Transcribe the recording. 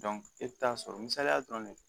e bɛ taa sɔrɔ misaliya dɔrɔn de